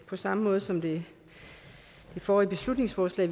på samme måde som ved det forrige beslutningsforslag